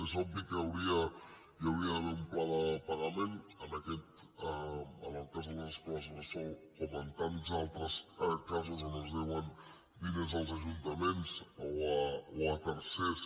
és obvi que hi hauria d’haver un pla de pagament en el cas de les escoles bressol com en tants altres casos on es deuen diners als ajuntaments o a tercers